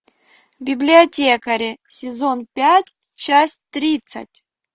библиотекари сезон пять часть тридцать